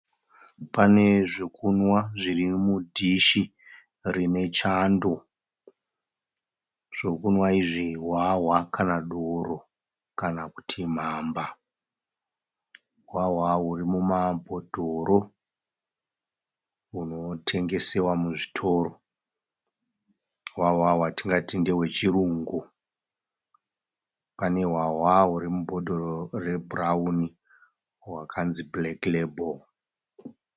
Pane zvekunwa zviri mudhishi rine chando . Zvekunwa izvi hwahwa kana doro kana Kuti mhamba. Hwahwa huri muma bhodhoro hunotengeswa muzvitoro. Hwahwa hwatingati ndehwe chirungu. Pane hwahwa huri mubhotoro re bhurauni hwatingati black lable.